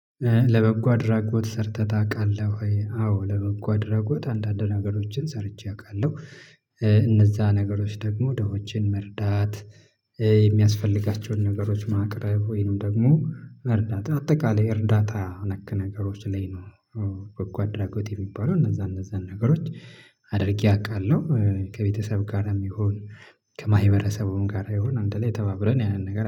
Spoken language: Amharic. ለበጎ አድራጎት ሰርተህ ታውቃለህ ወይ? አዎ ለበጎ አድራጎት አንዳንድ ነገሮችን ሰርቼ አውቃለሁ። እነዛ ነገሮች ደግሞ ደሆችን መርዳት የሚያስፈልጋቸውን ነገሮች ማቅረብ ወይንም ደግሞ መርዳት አጠቃላይ የእርዳታ ነክ ነገሮች ላይ ነው። አዎ አድራጎት የሚባለው እነዛ እነዛ ነገሮች አድርጌ አውቃለሁ። ከቤተሰብ ጋርም ይሁን ከማህበረሰቡም ጋር በመሆን አንድ ላይ ተባብረን ያንን ነገር